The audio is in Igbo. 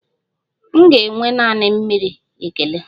M ga-enwe naanị mmiri, ekele.